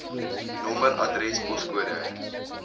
nommer adres poskode